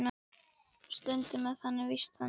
Stundum er það víst þannig.